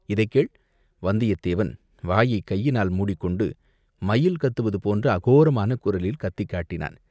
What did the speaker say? இதைக்கேள்!" வந்தியத்தேவன் வாயைக் கையினால் மூடிக்கொண்டு மயில் கத்துவது போன்ற அகோரமான குரலில் கத்திக் காட்டினான்.